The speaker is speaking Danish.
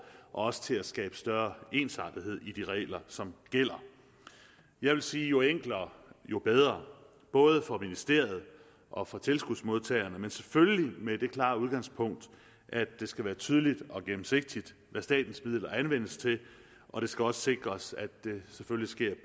også til at skabe større ensartethed i de regler som gælder jeg vil sige at jo enklere jo bedre både for ministeriet og for tilskudsmodtagerne men selvfølgelig med det klare udgangspunkt at det skal være tydeligt og gennemsigtigt hvad statens midler anvendes til og det skal også sikres at det selvfølgelig sker